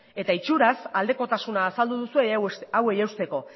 eta itxuraz aldekotasuna azaldu duzue hauei eusteko